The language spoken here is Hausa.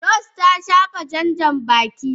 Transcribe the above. Rose ta shafa jan Janbaki.